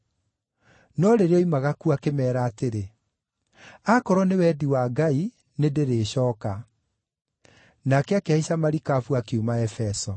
No rĩrĩa oimaga kuo, akĩmeera atĩrĩ, “Aakorwo nĩ wendi wa Ngai, nĩndĩrĩcooka.” Nake akĩhaica marikabu akiuma Efeso.